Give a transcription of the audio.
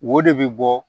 Wo de bɛ bɔ